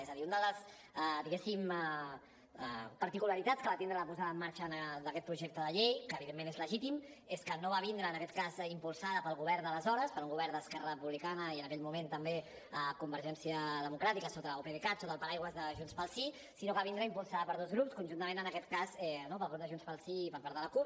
és a dir una de les diguéssim particularitats que va tindre la posada en marxa d’aquest projecte de llei que evidentment és legítim és que no va vindre impulsat pel govern d’aleshores per un govern d’esquerra republicana i en aquell moment també convergència democràtica o pdecat sota el paraigua de junts pel sí sinó que va vindre impulsada per dos grups conjuntament en aquest cas pel grup de junts pel sí i per part de la cup